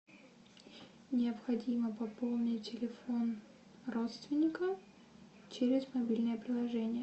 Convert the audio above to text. необходимо пополнить телефон родственника через мобильное приложение